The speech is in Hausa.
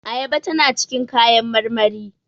Ayaba tana cikin kayan marmari